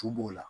Tu b'o la